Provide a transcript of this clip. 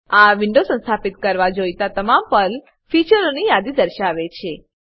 આ વિન્ડો સંસ્થાપિત કરવા જોઈતા તમામ પર્લ ફીચરોની યાદી દર્શાવે છે